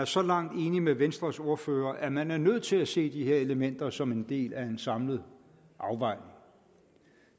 så langt enig med venstres ordfører at man er nødt til at se de her elementer som en del af en samlet afvejning